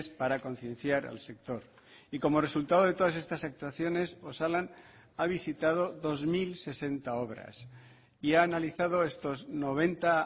para concienciar al sector y como resultado de todas estas actuaciones osalan ha visitado dos mil sesenta obras y ha analizado estos noventa